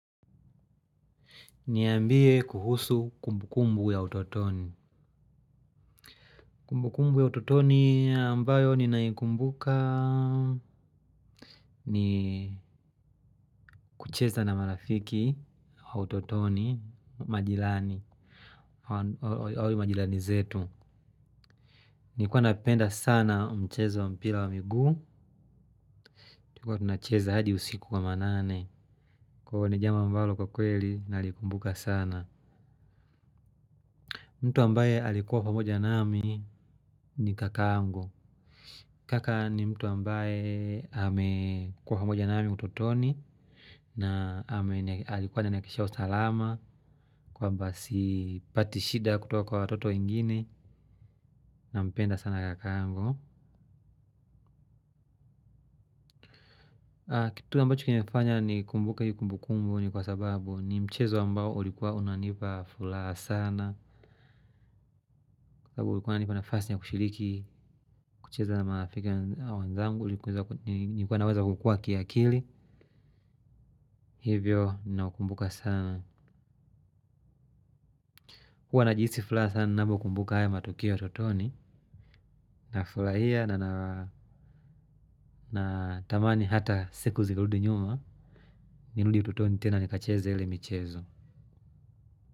Niambie kuhusu kumbukumbu ya utotoni. Kumbukumbu ya utotoni ambayo ninaikumbuka ni kucheza na marafiki wa utotonimajirani, wale majirani zetu. Nilikuwa napenda sana mchezo wa mpira wa miguu. Tukiwa tunacheza hadi usiku wa manane. Kwa hivyo ni jambo ambalo kwa kweli nalikumbuka sana. Mtu ambaye alikuwa pamoja nami ni kaka yangu. Kaka ni mtu ambaye amekuwa pamoja naami utotoni. Na alikuwa ananihakikishia usalama. Kwamba sipati shida kutoka kwa watoto wengine. Nampenda sana kakangu. Kitu ambacho kimefanya nikumbuke iyo kumbukumbu ni kwa sababu ni mchezo ambao ulikuwa unanipa furaha sana. Kwa ulikuwa unanipa nafasi ya kushiriki kucheza na marafiki wanzangu. Ulikuwa naweza kukua kiakili. Hivyo ninaukumbuka sana. Kuwa najihisi furaha sana navyo kumbuka haya matukio ya tutoni nafurahia na ata natamani siku zirudi nyuma. Nirudi utotoni tena nikacheze ile michezo.